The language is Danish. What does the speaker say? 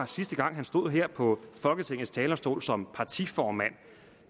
sidste gang han stod her på folketingets talerstol som partiformand